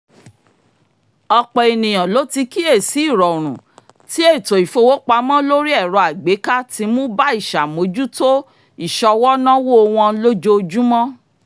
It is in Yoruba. ọ̀pọ̀lọpọ̀ ènìyàn ló ti kíyèsí ìrọ̀rùn tí ètò ìfowópamọ́ lórí ẹ̀rọ-àgbéká ń mú bá ìṣàmójútó ìṣọwọ́-náwó wọn lójoojúmó